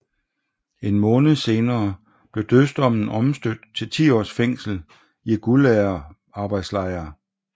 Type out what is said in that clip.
En måned senere blev dødsdommen omstødt til 10 års fængsel i gulagarbejdslejr